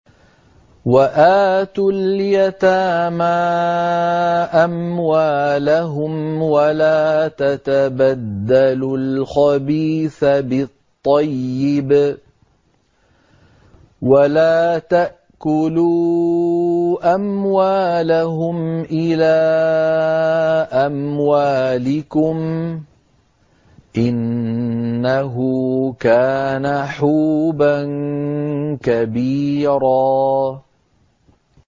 وَآتُوا الْيَتَامَىٰ أَمْوَالَهُمْ ۖ وَلَا تَتَبَدَّلُوا الْخَبِيثَ بِالطَّيِّبِ ۖ وَلَا تَأْكُلُوا أَمْوَالَهُمْ إِلَىٰ أَمْوَالِكُمْ ۚ إِنَّهُ كَانَ حُوبًا كَبِيرًا